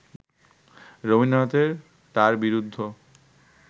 রবীন্দ্রনাথের তাঁর বিরুদ্ধ